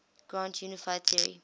grand unified theory